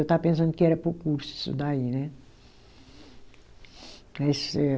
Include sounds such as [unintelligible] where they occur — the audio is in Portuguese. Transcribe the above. Eu estava pensando que era para o curso isso daí, né? [unintelligible]